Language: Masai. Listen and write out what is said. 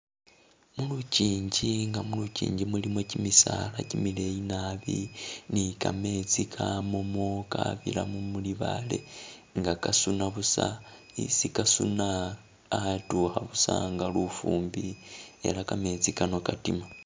Mulu chinji nga mulu chinji mulimo kimisaala kimileyi nabi ni kametsi kamamo kabiramo mulibale nga kasuna busa, isi kasuna atukha busa nga lufumbi ela kametsi kano katima